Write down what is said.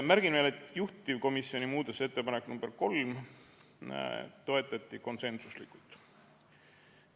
Märgin veel, et juhtivkomisjoni muudatusettepanekut nr 3 toetati konsensuslikult.